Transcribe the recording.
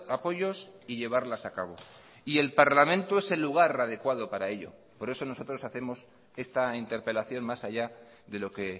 apoyos y llevarlas a cabo y el parlamento es el lugar adecuado para ello por eso nosotros hacemos esta interpelación más allá de lo que